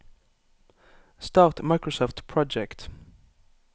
start Microsoft Project